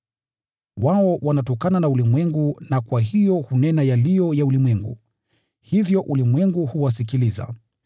Wao wanatokana na ulimwengu na kwa hiyo hunena yaliyo ya ulimwengu, hivyo ulimwengu huwasikiliza.